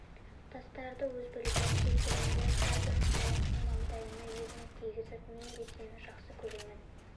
тастарды өз білгенінше термелеп әрбір құмалақты маңдайына ерніне тигізіп мен сені де жақсы көремін